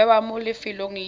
go bewa mo lefelong le